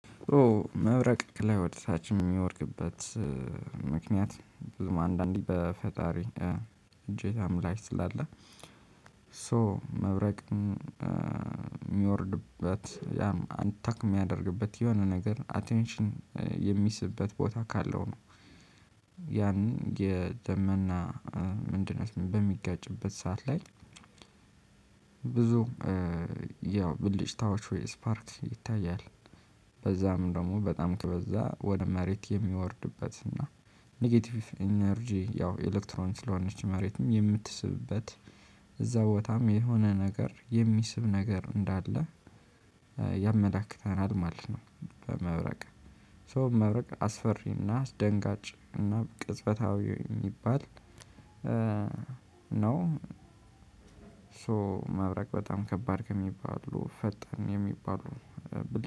መብረቅ ከላይ ወደ ታች እሚወድቅበት ምክንያት ብዙም አንዳንዴ በፈጣሪ እጄታም ላይ ስላለ ሶ መብረቅ ሚወርድበት ያም አንታክ ሚያደርግበት የሆነ ነገር አቴንሽን የሚስብበት ቦታ ካለው ነው። ያን የደመና ምንድናት በሚጋጭበት ሰዓት ላይ ብዙ ያው ብልጭታዎች ወይ ስፓርክ ይታያል። በዛም ደግሞ በጣም ከበዛ ወደ መሬት የሚወርድበት እና ኔጌቲቭ ኢነርጂ ያው ኤሌክትሮኒክ ስለሆነች መሬትም የምትስብበት እዛ ቦታም የሆነ ነገር የሚስብ ነገር እንዳለ ያመላክተናል ማለት ነው። በመብረቅ ሶ መብረቅ አስፈሪ እና አስደንጋጭ እና ቅጽበታዊ የሚባል ነው። ሶ ማብረቅ በጣም ከባድ ከሚባሉ ፈጣን የሚባሉ